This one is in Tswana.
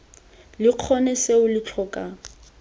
lo kgone seo lo tlhoka